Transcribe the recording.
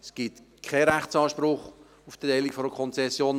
Es gibt keinen Rechtsanspruch auf die Erteilung einer Konzession.